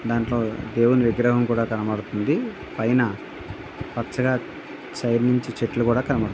ఇలాంటి దేవుడు విగ్రహం కూడా కనపడుతుంది. పైన పచ్చగా సైడ్ నుంచి చెట్లు కూడా కనపడ--